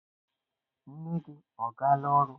Nne gi ọ gala oru?